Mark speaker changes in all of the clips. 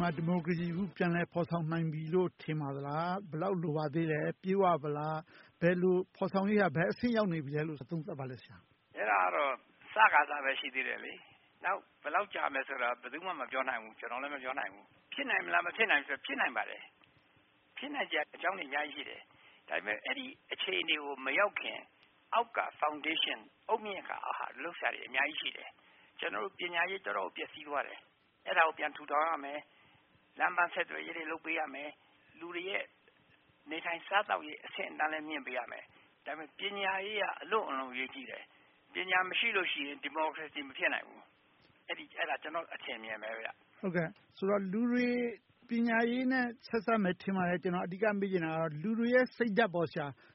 Speaker 1: မှာ အခု ဒီမိုကရေစီ ပြန်လည်ဖော်ဆောင်နိုင်ပြီလို့ ထင်ပါသလား။ ဘယ်လောက် လိုပါသေးသလဲ။ ပြည့်ဝသလား။ ဖော်ဆောင်ရေးအရ ဘယ်အဆင့် ရောက်နေပြီလဲလို့ သုံးသပ်ပါလဲ။
Speaker 2: အဲဒါကတော့ အစပဲ ရှိသေးတယ်။ နောက် ဘယ်လောက်ကြာမလဲဆိုတာ ဘယ်သူမှ မပြောနိုင်ဘူး။ ကျနော်လည်း မပြောနိုင်ဘူး။ ဖြစ်နိုင်သလား၊ မဖြစ်နိုင်ဘူးလားဆိုတာ ဖြစ်နိုင်ပါတယ်။ ဖြစ်နိုင်စရာ အကြောင်းတွေ အများကြီးရှိတယ်။ ဒါပေမဲ့ အဲဒီအခြေအနေကို မရောက်ခင် အောက်က foundation အုတ်မြစ်ဟာ လုပ်စရာတွေ အများကြီးရှိတယ်။ ကျနော်တို့ ပညာရေး တော်တော်လေး ပျက်ဆီးသွားတယ်။ အဲဒါကို ပြန်ထူထောင်ရမယ်။ လမ်းပန်းဆက်သွယ်ရေးတွေ လုပ်ပေးရမယ်။ လူတွေရဲ့ နေထိုင်စားသောက်ရေး အဆင့်အတန်းလည်း မြှင့်ပေးရမယ်။ ပညာရေးအရ အလွန်အရေးကြီးတယ်။ ပညာမရှိလို့ရှိရင် ဒီမိုကရေစီ မဖြစ်နိုင်ဘူး။ အဲဒါ ကျနော့် အထင်အမြင်ပဲ။
Speaker 1: ဆိုတော့ လူတွေ ပညာရေးနဲ့ ဆက်စပ်မယ် ထင်ပါတယ်။ အဓိက မေးချင်တာက လူတွေရဲ့ စိတ်ဓါတ်က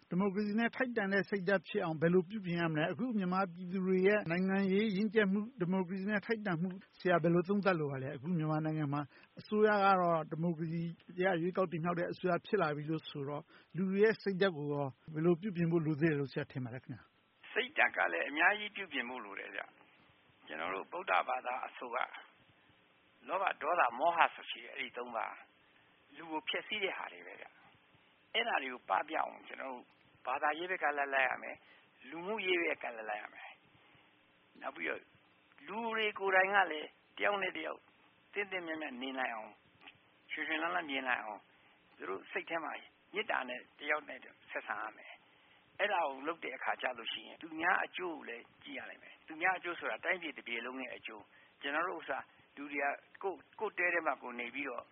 Speaker 1: ဒီမိုကရေစီနဲ့ ထိုက်တန်တဲ့ စိတ်ဓါတ်ဖြစ်အောင် ဘယ်လို ပြုပြင်ရမလဲ။ မြန်မာပြည်သူတွေရဲ့ နိုင်ငံရေးရင့်ကြတ်မှု၊ ဒီမိုကရေစီနဲ့ ထိုက်တန်မှုကို ဘယ်လို သုံးသပ်လိုပါသလဲ။ အခု မြန်မာနိုင်ငံမှာ အစိုးရကတော့ ဒီမိုကရေစီအရ ရွေးကောက်တင်မြှောက်တဲ့ အစိုးရ ဖြစ်လာပြီဆိုတော့ လူတွေရဲ့ စိတ်ဓါတ်ကို ဘယ်လိုပြုပြင်ဖို့ လိုသေးတယ်လို့ ဆရာ ထင်ပါသလဲ။
Speaker 2: စိတ်ဓါတ်ကလည်း အများကြီး ပြုပြင်ဖို့ လိုတယ်။ ကျနော်တို့ ဗုဒ..ဘာသာအဆိုအရ လောဘ၊ ဒေါသ၊ မောဟ ပါး ရှိတယ်။ လူကို ဖျက်ဆီးတဲ့ဟာတွေ။ အဲဒါတွေကို ပပျောက်အောင် ဘာသာရေးဘက်ကလိုက်ရမယ်။ လူမှုရေးဘက်က လိုက်ရမယ်။ နောက်ပြီးတော့ လူတွေကိုယ်တိုင်ကလည်း တယောက်နဲ့တယောက် သင့်သင့်မြတ်မြတ် နေနိုင်အောင်၊ ရွှင်ရွှင်လန်းလန်း နေနိုင်အောင် သူတို့စိတ်ထဲမှာ မေတ္တာနဲ့ တယောက်နဲ့တယောက် ဆက်ဆံရမယ်။ အဲဒါကို လုပ်တဲ့အခါကြရင် သူများအကျိုးကိုလည်း ကြည့်ရလိမ့်မယ်။ သူများအကျိုးဆိုတာ တိုင်းပြည်တပြည်လုံးရဲ့အကျိုး။ ကျနော်တို့ဥစ္စာ ကိုယ့်တဲထဲမှာ ကိုယ်နေပြီးတော့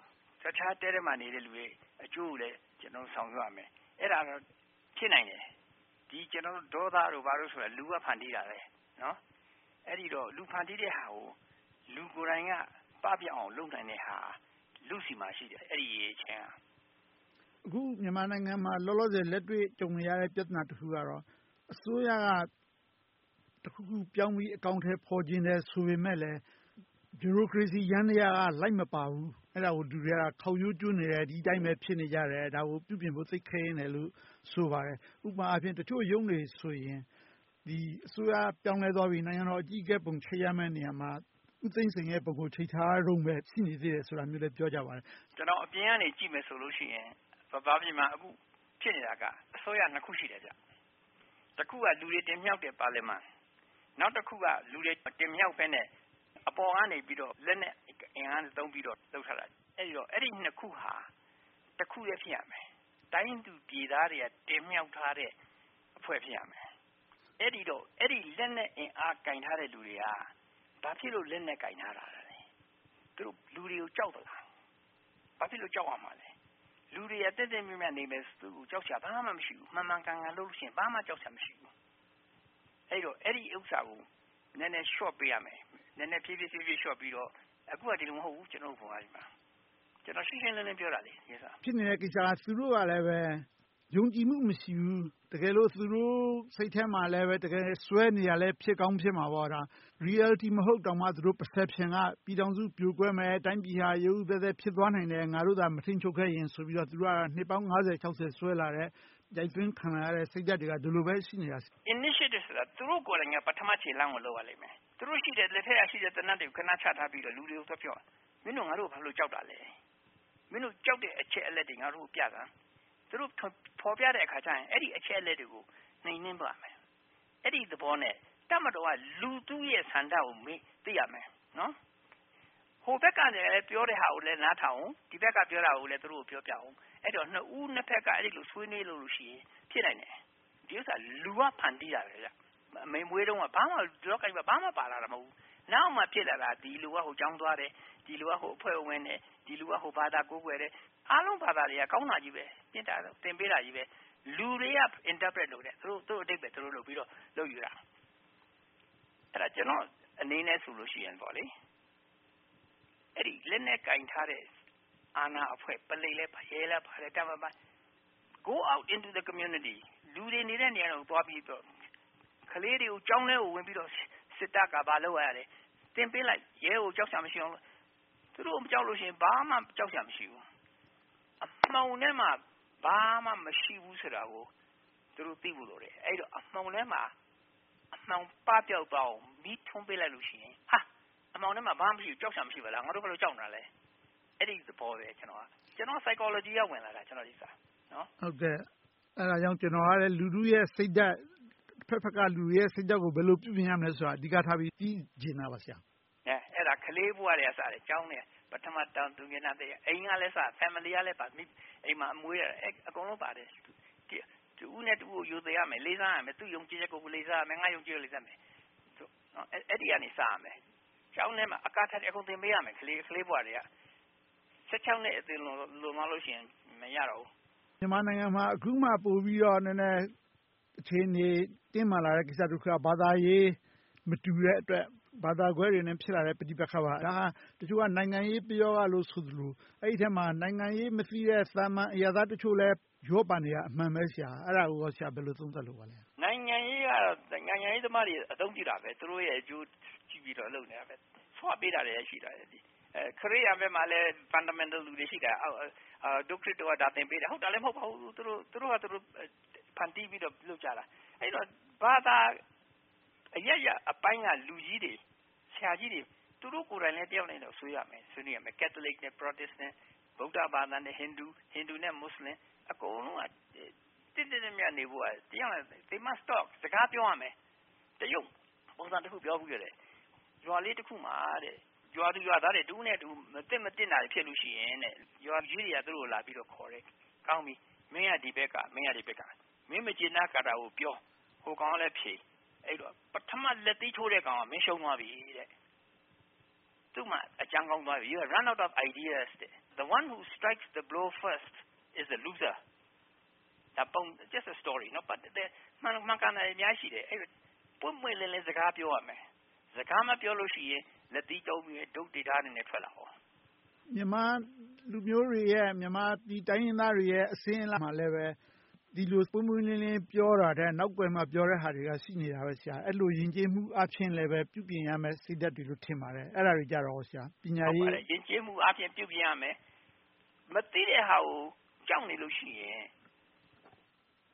Speaker 2: တခြားတဲထဲမှာနေတဲ့ အကျိုးကိုလည်း ဆောင်ရွက်ရမယ်။ အဲဒါ ဖြစ်နိုင်တယ်။ ဒေါသတို့ ဘာတို့ဆိုတာ လူကဖန်တီးတာ။ အဲဒီတော့ လူဖန်တီးတဲ့ဟာကို လူကိုယ်တိုင်က ပပျောက်အောင် လုပ်နိုင်တဲ့ အရည်အချင်းက လူ့ဆီမှာရှိတယ်။
Speaker 1: အခု မြန်မာနိုင်ငံမှာ လောလောဆယ် လက်တွေ့ကြုံနေရတဲ့ ပြဿနာတခုကတော့ အစိုးရကတခုခုပြောင်းပြီး အကောင်အထည်ဖော်ချင်တယ် ဆိုပေမယ့်လဲ ဒီမိုကရေစီယန္တရားက လိုက်မပါဘူး။ အဲဒါကို လူတွေက ခေါက်ရိုးကျိုးနေတယ်။ ဒီအတိုင်းပဲ ဖြစ်နေကြတယ်။ ဒါကို ပြုပြင်ဖို့ သိပ်ခဲယဉ်းတယ်လို့ ဆိုပါတယ်။ ဥပမာ တချို့ရုံးတွေဆိုရင် အစိုးရက ပြောင်းလဲသွားပြီ၊ နိုင်ငံတော်အကြီးအကဲပုံ ချိတ်ရမယ့်နေရာမှာ ဦးသိန်းစိန်ရဲ့ပုံကို ချိတ်ထားတုန်း ရှိနေသေးတယ်လို့ ဆိုပါတယ်။
Speaker 2: ကျနော် အပြင်ကနေ ကြည့်မယ်ဆိုရင် ဗမာပြည်မှာ အခုဖြစ်နေတာက အစိုးရနှစ်ရပ်ရှိတယ်။ တခုက လူတွေတင်မြှောက်တဲ့ ပါလီမန်။ နောက်တခုက လူတွေမတင်မြှောက်ဘဲနဲ့ အပေါ်ကနေ လက်နက်အင်အားသုံးပြီးတော့ လုပ်ထားတာ။ အဲဒီနှစ်ခုဟာ တခုတည်း ဖြစ်ရမယ်။ တိုင်းသူပြည်သားတွေက တင်မြှောက်ထားတဲ့ အဖွဲ့ ဖြစ်ရမယ်။ အဲဒီလက်နက်အင်အား ကိုင်ထားတဲ့လူတွေက ဘာဖြစ်လို့ လက်နက်ကိုင်ထားတာလဲ။ သူတို့ လူတွေကို ကြောက်သလား။ ဘာဖြစ်လို့ ကြောက်ရမှာလဲ။ လူတွေက သင့်သင့်မြတ်မြတ်နေမယ်ဆိုရင် ကြောက်စရာ ဘာမှမရှိဘူး။ မှန်မှန်ကန်ကန်လုပ်လို့ရှိရင် ဘာမှ ကြောက်စရာ မရှိဘူး။ အဲဒီဥစ္စာကို နည်းနည်းဖြေဖြေလျှော့ပေးရမယ်။ အခုက ဒီလို မဟုတ်ဘူး ဗမာပြည်မှာက။ ကျနော် ရှင်းရှင်းလင်းလင်း ပြောတာပါ။
Speaker 1: ဖြစ်နေတဲ့ကိစ္စက သူတို့ကလဲ ယုံကြည်မှု မရှိဘူး။ တကယ်လို့ သူတို့ စိတ်ထဲမှာလဲ တကယ်စွဲနေတာလဲ ဖြစ်ကောင်းဖြစ်မှာပေါ့။ Reality မဟုတ်တောင်မှ Perception က ပြည်ထောင်စုပြိုကွဲမယ်။ တိုင်းပြည်က ရုတ်ရုတ်သဲသဲ ဖြစ်သွားနိုင်တယ်။ ငါတို့သာ မထိန်းချုပ်ခဲ့ရင်ဆို။ သူတို့က နှစ်ပေါင်း ကျော် စွဲလာတဲ့၊ ရိုက်သွင်းခံလိုက်ရတဲ့ စိတ်ဓါတ်တွေက ဒါပဲရှိတာ။
Speaker 2: Initiative ဆိုတာ သူတို့ကိုယ်တိုင်က ပထမ ခြေလှမ်းကို လုပ်ရလိမ့်မယ်။ သူတို့လက်ထဲကရှိတဲ့ သေနတ်တွေကို ခဏချထားပြီးတော့ လူတွေကို သွားပြောရမယ်။ မင်းတို့ ငါတို့ကို ဘာဖြစ်လို့ ကြောက်တာလဲ။ မင်းတို့ကြောက်တဲ့ အချက်အလက်တွေ ငါတို့ကို ပြစမ်း။ သူတို့ဖော်ပြတဲ့အခါ အဲဒီအချက်အလက်တွေကို နှိမ်နှင်းသွားရမယ်။ အဲဒီသဘောနဲ့ တပ်မတော်က လူထုရဲ့ဆန္ဒကို သိရမယ်။ ဟိုဘက်က ပြောတဲ့ဟာကို နားထောင်၊ ဒီဘက်က ပြောတဲ့ဟာကိုလည်း ပြောပြအုံးမယ်။ အဲဒီတော့ နှစ်ဦးနှစ်ဖက်က အဲဒီလို ဆွေးနွေးလို့ရှိရင် ဖြစ်နိုင်တယ်။ ဒီဥစ္စာဟာ လူက ဖန်တီးတာပဲ။ အမေမွေးတုန်းက လောကကြီးမှာ ဘာမှပါလာတာ မဟုတ်ဘူး။ နောက်မှ ဖြစ်လာတာ။ ဒီလူက ဟိုကျောင်းသွားတယ်။ ဒီလူက ဟိုအဖွဲ့ကိုဝင်တယ်။ ဒီလူက ဟိုဘာသာ ကိုးကွယ်တယ်။ အားလုံး ဘာသာတွေက ကောင်းတာကြီးပဲ။ မေတ္တာတော်ကို သင်ပေးတယ်။ လူတွေက interpret လုပ်တယ်။ သူတို့အဓိပ္ပါယ် သူတို့လုပ်ယူတာ။ ကျနော့်အနေနဲ့ဆိုရင် လက်နက်ကိုင်ထားတဲ့ အာဏာအဖွဲ့ ပုလိပ်ရဲ၊ တပ်မတော်သားတွေကို Go out to the communities လူတွေနေတဲ့ နေရာတွေကို သွားပြီးတော့ - ကလေးတွေကို ကျောင်းထဲကို ဝင်ပြီးတော့ စစ်တပ်က ဘာလုပ်တယ်။ သင်ပေးလိုက်။ ရဲကို ကြောက်စရာမရှိအောင်။ သူတို့ကို မကြောက်လို့ရှိရင် ဘာမှ ကြောက်စရာမရှိဘူး။ အမှောင်ထဲမှာ ဘာမှမရှိဘူးဆိုတာ သူတို့ သိဖို့လိုတယ်။ အဲဒီတော့ အမှောင်ထဲမှာ အမှောင်ပပျောက်သွားအောင် မီးထွန်းပေးလိုက်လို့ရှိရင် အမှောင်ထဲမှာ ဘာမှမရှိဘူး။ ငါတို့ ဘာလို့ ကြောက်နေတာလဲ။ အဲဒီ သဘောပဲ။ ကျနော် Psychology က ဝင်လာတာ။
Speaker 1: အဲဒါကြောင့် ကျနော်က လူထုရဲ့စိတ်ဓါတ်။ အဖက်ဖက်က စိတ်ဓါတ်ကို ဘယ်လို ပြုပြင်ရမယ်ဆိုတာကို အဓိကထား သိချင်တာပါ။
Speaker 2: အဲဒါ ကလေးဘဝက စတယ်။ ပထမတန်း၊ သူငယ်တန်း။ အိမ်ကလည်း စတယ်။ Family လည်းပါတယ်။ အကုန်လုံးပါတယ်။ တဦးနဲ့တဦးကို ရိုသေရမယ်။ လေးစားရမယ်။ သူ့ယုံကြည်ချက်ကို လေးစားမယ်။ ငါ့ယုံကြည်ချက်ကို လေးစားရမယ်။ အဲဒီက စရမယ်။ ကျောင်းထဲမှာ အကုန်သင်ပေးရမယ်။ ကလေးဘဝထဲက။ နှစ် ကျော်သွားလို့ရှိရင် မရတော့ဘူး။
Speaker 1: မြန်မာနိုင်ငံမှာ အခုမှ ပိုပြီးတော့ အခြေအနေ တင်းမာလာတဲ့ကိစ္စတခုက ဘာသာရေး မတူတဲ့အတွက်၊ ဘာသာကွဲတွေကြား ဖြစ်လာတဲ့ ပဋိပက္ခပါ။ တချို့ နိုင်ငံရေးပရောဂလို့ ဆိုသလို၊ အဲဒီအထဲမှာ နိုင်ငံရေးမသိတဲ့ အရပ်သားတချို့လည်း ရောပါနေတာ အမှန်ပဲ။ အဲဒါကို ဆရာ ဘယ်လို သုံးသပ်လိုပါလဲ။
Speaker 2: နိုင်ငံရေးသမားတွေ အသုံးပြုတာပဲ။ သူတို့ရဲ့အကျိုး ကြည့်ပြီးတော့ လုပ်နေတာပဲ။ ဆွပေးနေတာလည်း ရှိတယ်။ ခရစ်ယာန်ဘက်မှာလည်း fundamental လူတွေ ရှိတယ်။ ဒို့ခရစ်တော်က ဒါသင်ပေးတာ။ ဟုတ်တာလဲ မဟုတ်ပါဘူး။ သူတို့ဘာသာ သူတို့ ဖန်တီးပြီးတော့ လုပ်ကြတာ။ အဲဒီတော့ ဘာသာအရပ်ရပ်ပိုင်းက လူကြီးတွေ၊ ဆရာကြီးတွေ သူတို့ကိုယ်တိုင်လည်း တယောက်နဲ့တယောက် ဆွေးနွေးရမယ်။ ကတ်သလစ် နဲ့ ပရော်တစ်နဲ့၊ ဗုဒ္ဓဘာသာနဲ့ ဟိန္ဒူ၊ ဟိန္ဒူ နဲ့ မူစလင်။ အကုန်လုံးက သင့်သင့်မြတ်မြတ် နေဖို့က တယောက်နဲ့တယောက် They must start စကားပြောရမယ်။ တရုတ်ပုံပြင်တခုက ရွာလေးတခုမှာ ရွာသူရွာသားတွေက တဦးနဲ့တဦး မသင့်တင်တာတွေ ဖြစ်လို့ရှိရင် ရွာသူကြီးတွေက သူတို့ကိုလာပြီးခေါ်တယ်။ ကောင်းပြီ မင်းက ဒီဘက်က၊ မင်းက ဟိုဘက်က။ မင်း မကျေနပ်တာကို ပြော။ ဟိုကောင်ကလည်း ဖြေ။ ပထမ လက်သီးထိုးတဲ့ကောင်က မင်းရှုံးသွားပြီတဲ့။ သူမှာ အကြံကုန်သွားပြီ - Run out of ideas. The one who blow first is loser. That’s the story. မှန်တာတွေ အများကြီးရှိတယ်။ ပွင့်ပွင့်လင်းလင်း စကားပြောရမယ်။ စကားမပြောရင် လက်သီးသုံး၊ တုတ်တွေ ဒါးတွေနဲ့ ထွက်လာကော။
Speaker 1: မြန်မာလူမျိုးတွေ မြန်မာတိုင်းရင်းသားတွေရဲ့ အစဉ်အလာမှာလဲ ဒီလို ပွင့်ပွင့်လင်းလင်း ပြောတာထက်၊ နောက်ကွယ်မှာ ပြောတာတွေက ရှိနေတယ်။ အဲဒီလို ယဉ်ကျေးမှုအားဖြင့်လဲ ပြုပြင်ရမယ့် စိတ်ဓါတ်တွေလို့ ထင်ပါတယ်။ အဲဒါတွေကြတော့ ပညာရေးနဲ့ဆိုင်လား။
Speaker 2: ယဉ်ကျေးမှုအားဖြင့် ပြုပြင်ရမယ်။ မသိတဲ့ဟာကို ကြောက်နေလို့ရှိရင်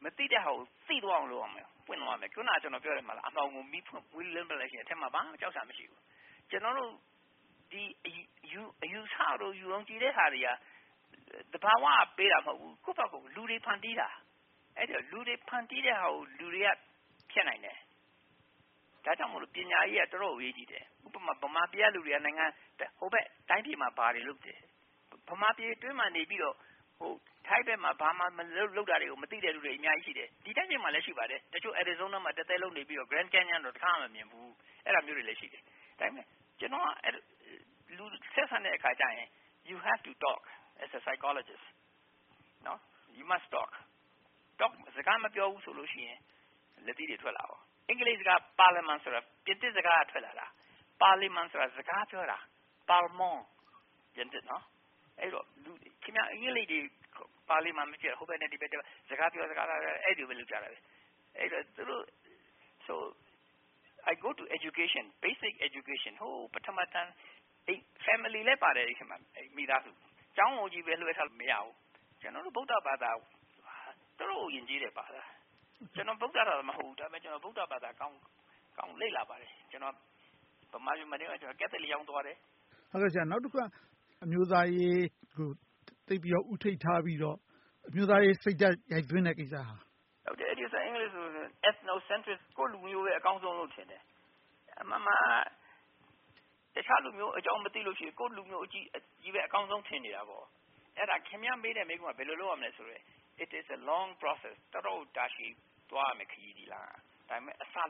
Speaker 2: မသိတဲ့ဟာကို သိသွားအောင် လုပ်ရမယ်။ အခုန ကျနော်ပြောတယ် - အမှောင်ကို မီးထွန်းပေးလိုက်လို့ရှိရင် ဘာမှ ကြောက်စရာ မရှိဘူး။ ကျနော်တို့ အယူအဆ၊ ယုံကြည်တဲ့ဟာတွေက သဘာဝက ပေးတာမဟုတ်ဘူး။ ကိုယ့်ဘာသာ လူတွေ ဖန်တီးတာ။ လူတွေ ဖန်တီးတဲ့ဟာတွေကို လူတွေက ဖျက်နိုင်တယ်။ ဒါကြောင့်မို့ ပညာရေးက တော်တော်ကို အရေးကြီးတယ်။ ဥပမာ ဗမာပြည်က လူတွေက ဟိုဘက်တိုင်းပြည်မှာ ဘာတွေလုပ်တယ်။ ဗမာပြည်အတွင်းမှာနေပြီတော့ ထိုင်းဘက်မှာ ဘာလုပ်နေတယ်ဆိုတာကို မသိတဲ့လူတွေ အများကြီးရှိတယ်။ တချို့ အာရီဇိုးနားမှာ တသက်လုံးနေပြီးတော့ Grand Canyon ကို တခါမှ မမြင်ဖူးဘူး။ အဲဒါမျိုးတွေလည်း ရှိတယ်။ ဒါပေမဲ့ ကျနော်က လူတွေနဲ့ ဆက်ဆံတဲ့အခါကြရင် You have to talk as a psychologist - စကားမပြောဘူးဆိုလို့ရှိရင် လက်သီးတွေ ထွက်လာတယ်။ အင်္ဂလိပ်စကား ပါလီမန်ဆိုတာ ပြင်သစ်စကားက ထွက်လာတာ။ ပါလီမန်ဆိုတာ စကားပြောတာ။ အင်္ဂလိပ်တွေ ပါလီမန်ကိုကြည့်ပါ - ဟိုဘက်နဲ့ဒီဘက် စကားတွေ ပြောကြတာ - အဲဒီလိုပဲ လုပ်ကြတယ်။ အဲဒီတော့ I go to education – basic education ပထမတန်း၊ မိသားစုလည်းပါတယ်။ ကျောင်းကိုပဲ လွှဲထားလို့ မရဘူး။ ကျနော်တို့ ဗုဒ္ဓက အတော်ကို ယဉ်ကျေးတဲ့ဘာသာ။ ကျနော်က ဗုဒ--- ဘာသာတော့ မဟုတ်ဘူး။ ဒါပေမဲ့ ဗုဒ္ဓကို ကောင်းကောင်းလေ့လာပါတယ်။ ဗမာပြည်မှာနေတုန်းက ကတ်သလစ်ကျောင်းသွားတယ်။
Speaker 1: နောက်တခုက အမျိုးသားရေးကို သိပ်ပြီးတော့ ဦးထိပ်ထားပြီးတော့ အမျိုးသားရေးစိတ်ဓါတ် ရိုက်သွင်းတဲ့ကိစ္စ။
Speaker 2: အဲဒါ Ethnocentric ကိုယ့်လူမျိုး အကောင်းဆုံးလို့ ထင်တယ်။ အမှန်မှန်က တခြားလူမျိုးအကြောင်း မသိလို့ရှိရင် ကိုယ့်လူမျိုးကိုပဲ အကောင်းဆုံးလို့ ထင်နေတာပေါ့။ အဲဒါ ခင်များမေးတဲ့ မေးခွန်းက ဘယ်လို လုပ်ရမလဲဆိုရင် It’s a long process. တော်တော်ကို တာရှည်သွားရမယ့် ခရီး။ ဒါပေမဲ့ အစ စရမ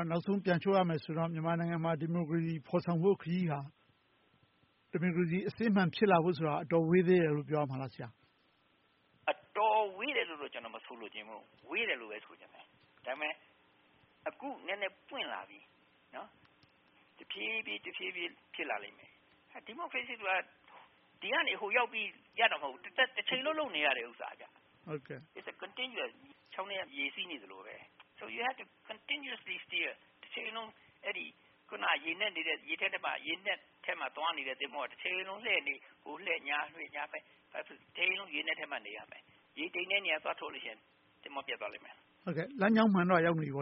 Speaker 2: ယ်။
Speaker 1: နောက်ဆုံး ပြန်ချုပ်ရမယ်ဆိုရင် မြန်မာနိုင်ငံမှာ ဒီမိုကရေစီ ဖော်ဆောင်ဖို့ခရီး၊ ဒီမိုကရေစီ အစစ်အမှန် ဖြစ်လာဖို့ဆိုတာ အတော်ဝေးသေးတယ်လို့ ပြောရမလား။
Speaker 2: အတော်ဝေးတယ်လို့တော့ ကျနော် မဆိုလိုချင်ဘူး။ ဝေးတယ်လို့ပဲ ဆိုချင်တယ်။ ဒါပေမဲ့ အခုနည်းနည်း ပွင့်လာပြီ။ တဖြည်းဖြည်း ဖြစ်လာလိမ့်မယ်။ ဒီမိုကရေစီဆိုတာ ဒီကနေ ဟိုရောက်ပြီ ရပ်တာ မဟုတ်ဘူး။ တချိန်လုံး လုပ်နေရတယ်။ It’s continuous - ချောင်းထဲ ရေစီးနေသလို။ You have to continuously steer. တချိန်လုံး ရေနက်ထဲမှာ သွားလာနေတဲ့ သင်္ဘောက တချိန်လုံး လှည့်နေ ဟိုလှည့်ဒီလှည့် တချိန်လုံး ရေနက်ထဲမှာ နေရမယ်။ ရေတိမ်တဲ့နေရာ သွားထိုးလို့ရှိရင် သင်္ဘောပျက်သွားလိမ့်မယ်။
Speaker 1: လမ်းကြောင်းမှန်တော့ ရောက်နေပြီပေါ့